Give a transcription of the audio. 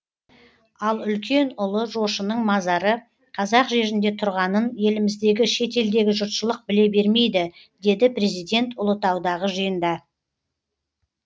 ал үлкен ұлы жошының мазары қазақ жерінде тұрғанын еліміздегі шетелдегі жұртшылық біле бермейді деді президент ұлытаудағы жиында